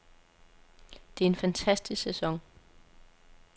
Det er en fantastisk sæson.